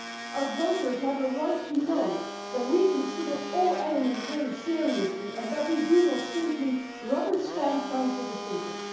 Our voters have a right to know that we consider all elements very seriously and that we do not simply rubber stamp Council decisions.